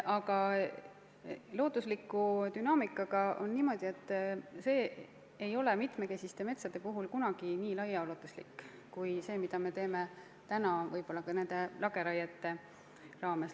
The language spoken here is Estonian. Aga loodusliku dünaamikaga on niimoodi, et see ei avaldu mitmekesiste metsade puhul kunagi nii laiaulatuslikult kui mõju, mida me avaldame praegu lageraietega.